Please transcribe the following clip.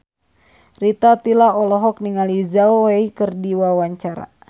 Rita Tila olohok ningali Zhao Wei keur diwawancara